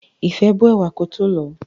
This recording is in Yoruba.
Ìfẹ́ bó ẹ̀wà kótó lọ̀ọ́.